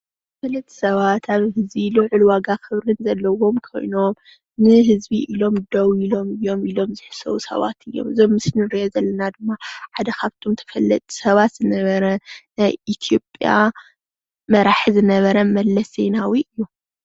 ፍሉጥ ሰባት ኣብ ግዚኡ ልዑል ዋጋ ኽብሪን ዘለዎም ኾይኖም ንህዝቢ ኢሎም ደው ኢሎም እዮም ኢሎም ዝሕሰቡ ሰባት እዮም። እዚ ኣብ ምስሊ እንሪኦ ዘለና ድማ ሓደ ካብቶም ተፈለጥቲ ሰባት ዝነበረ ናይ ኢትዮጵያ መራሒ ዝነበረ መለስ ዜናዊ እዪ።